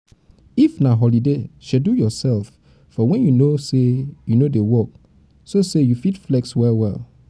if na holiday schedule yourself for when you no dey work so say you fit flex well well